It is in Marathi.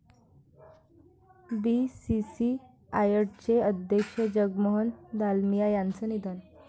बीसीसीआयचे अध्यक्ष जगमोहन दालमिया यांचं निधन